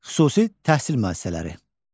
Xüsusi təhsil müəssisələri.